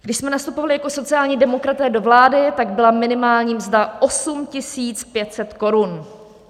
Když jsme nastupovali jako sociální demokraté do vlády, tak byla minimální mzda 8 500 korun.